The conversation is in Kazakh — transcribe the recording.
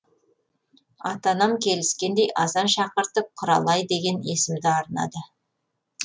ата анам келіскендей азан шақыртып құралай деген есімді арнады